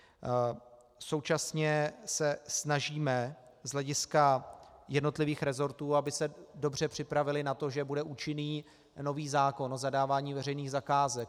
Současně se snažíme z hlediska jednotlivých rezortů, aby se dobře připravily na to, že bude účinný nový zákon o zadávání veřejných zakázek.